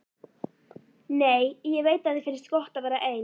Nei, ég veit að þér finnst gott að vera ein.